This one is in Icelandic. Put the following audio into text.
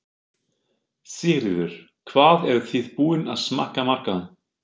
Sigríður: Hvað eruð þið búin að smakka marga?